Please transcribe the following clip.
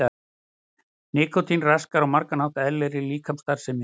Nikótín raskar á margan hátt eðlilegri líkamsstarfsemi.